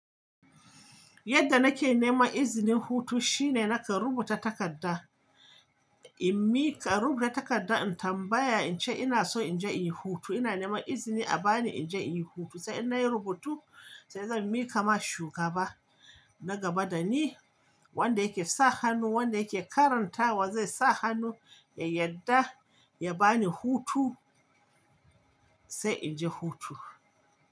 Yadda nake neman izinin hutu shine nakan rubuta takarda, in miƙa, rubuta takarda in tambaya in ce ina so in je in yi hutu. Ina neman izini a bani in je in yi hutu. Sai in nayi rubutu sai zan mika ma shugaba na gaba da ni wanda yake sa hannu, wanda yake karanta wa zai sa hannu yadda ya bani hutu sai in je hutu.